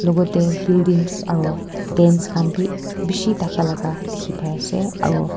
vote buildings aro dance khan beh beshe thaka la ka dekhe pai ase aro.